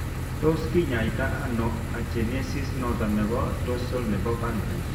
Tos kinyai to ano agenesis noton nebo dorsal nebo pancrease ?